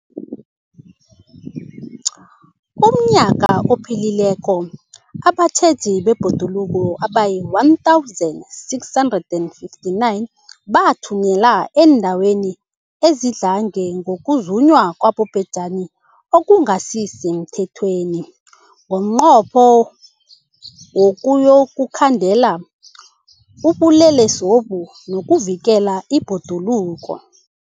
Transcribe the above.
UmNnyaka ophelileko abatjheji bebhoduluko abayi-1 659 bathunyelwa eendaweni ezidlange ngokuzunywa kwabobhejani okungasi semthethweni ngomnqopho wokuyokukhandela ubulelesobu nokuvikela ibhoduluko.